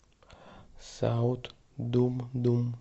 саут думдум